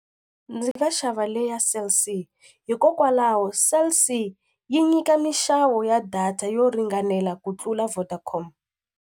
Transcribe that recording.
Ndzi nga xava leya Cell C hikokwalaho Cell C yi nyika minxavo ya data yo ringanela ku tlula Vodacom.